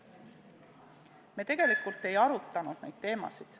Me tegelikult ei arutanud neid teemasid.